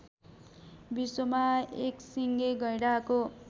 विश्वमा एकसिङे गैंडाको